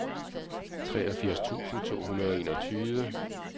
treogfirs tusind to hundrede og enogtyve